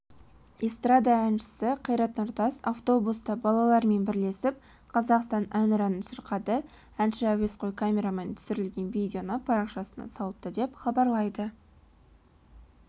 эстрада әншісі қайрат нұртас автобуста балалармен бірлесіп қазақстан әнұранын шырқады әнші әуесқой камерамен түсірілген видеоны парақшасына салыпты деп хабарлайды